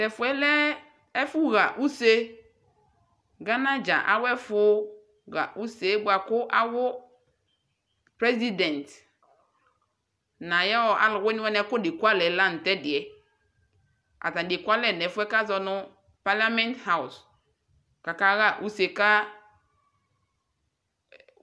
Tɛfuɛ lɛɛ ɛfu ɣa use Ghana ɖʒa ayɛfu ɣa usee buaku president nayɔɔ aluwiniwani afte kualɛɛ la nu tɛdiɛAtani ekualɛ nu palament housekaka wa usee ka